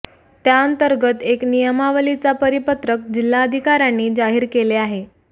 त्या अंतर्गत एक नियमावलीचा परिपत्रक जिल्हाधिकाऱ्यांनी जाहीर केले आहे